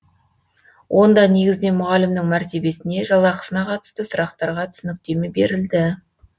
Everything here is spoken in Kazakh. онда негізінен мұғалімнің мәртебесіне жалақысына қатысты сұрақтарға түсініктеме берілді